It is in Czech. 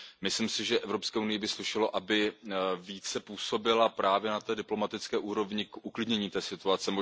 Myslím si, že Evropské unii by slušelo, aby více působila právě na té diplomatické úrovni k uklidnění situace.